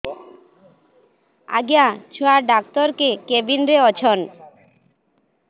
ଆଜ୍ଞା ଛୁଆ ଡାକ୍ତର କେ କେବିନ୍ ରେ ଅଛନ୍